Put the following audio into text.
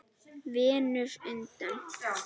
Venus undan